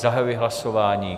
Zahajuji hlasování.